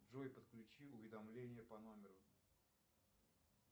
джой подключи уведомление по номеру